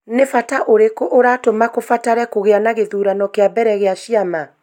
Nĩ bata ũrĩkũ ũratũma kũbatare kũgĩa na gĩthurano kĩa mbere kĩa ciama?